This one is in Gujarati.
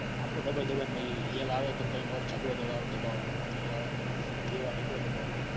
આખો દબાઈ દબાઈ ને મોઇ એલ આવે તો ત્રણ વાર ચગડો દબાવાનો બી આવે બે વાર એકડો દબાવાનો.